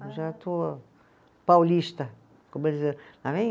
Já estou paulista, como